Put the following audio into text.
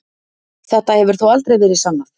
Þetta hefur þó aldrei verið sannað.